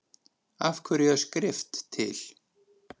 Af hverju er skrift til?